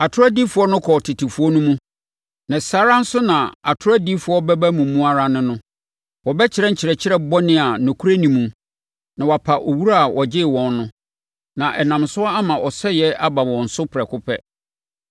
Atorɔ adiyifoɔ kɔɔ tetefoɔ no mu, na saa ara nso na atorɔ adiyifoɔ bɛba mo mu ara ne no. Wɔbɛkyerɛ nkyerɛkyerɛ bɔne a nokorɛ nni mu na wɔapa Owura a ɔgyee wɔn no, na ɛnam so ama ɔsɛeɛ aba wɔn so prɛko pɛ.